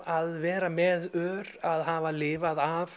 að vera með ör að hafa lifað af